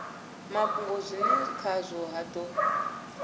mafhungo zwine khazwo ha do